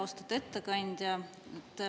Austatud ettekandja!